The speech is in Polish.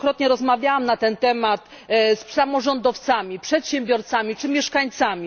Wielokrotnie rozmawiałam na ten temat z samorządowcami, przedsiębiorcami czy mieszkańcami.